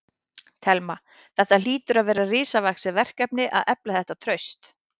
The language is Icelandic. Telma: Þetta hlýtur að vera risavaxið verkefni að efla þetta traust?